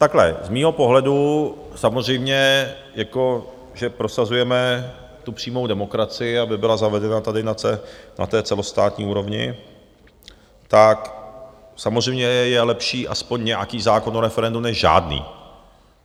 Takhle, z mého pohledu samozřejmě jako že prosazujeme tu přímou demokracii, aby byla zavedena tady na té celostátní úrovni, tak samozřejmě je lepší aspoň nějaký zákon o referendu než žádný.